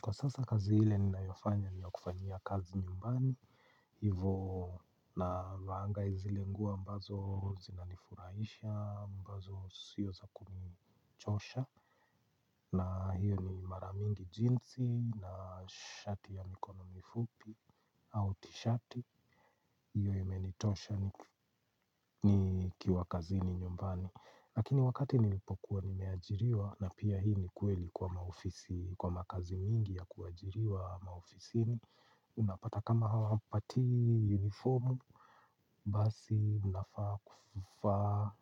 Kwa sasa kazi ile ninayofanya ni ya kufanyia kazi nyumbani, hivo navaanga zile nguo ambazo zinanifurahisha, ambazo siyo za kunichosha, na hiyo ni mara mingi jinsi na shati ya mikono mifupi au tishati, hiyo imenitosha nikiwa kazini nyumbani. Lakini wakati nilipokuwa nimeajiriwa na pia hii ni kweli kwa maofisi, kwa makazi mingi ya kuajiriwa maofisini unapata kama hawawa pati uniformu, basi unafaa kuvaa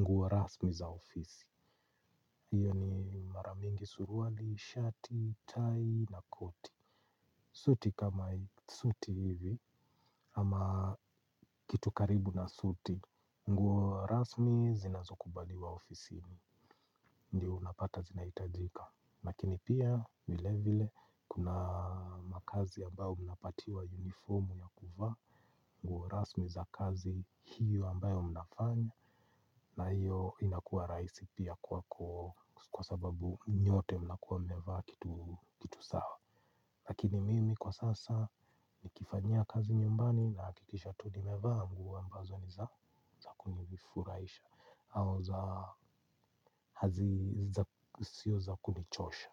nguo rasmi za ofisi hiyo ni maramingi suruali, shati, tai na koti suti kama suti hivi ama kitu karibu na suti, nguo rasmi zinazo kubali wa ofisi ni ndiyo unapata zinahitajika lakini pia vile vile kuna makazi ambayo mnapatiwa uniformu ya kuvaa nguo rasmi za kazi hiyo ambayo mnafanya na hiyo inakua rahisi piakwako kwa sababu nyote mna kuwa mmevaa kitu sawa lakini mimi kwa sasa nikifanyia kazi nyumbani na hakikisha tu ni mevaa nguo ambazo ni zakuni vifurahisha au za sio za kunichosha.